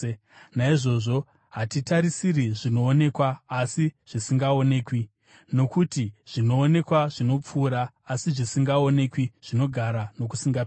Naizvozvo hatitarisi zvinoonekwa, asi zvisingaonekwi. Nokuti zvinoonekwa zvinopfuura, asi zvisingaonekwi zvinogara nokusingaperi.